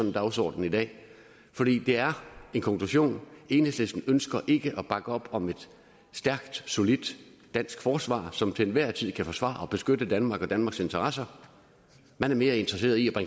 en dagsordenen i dag fordi det er en konklusion enhedslisten ønsker ikke at bakke op om et stærk solidt dansk forsvar som til enhver tid kan forsvare og beskytte danmark og danmarks interesser man er mere interesseret i at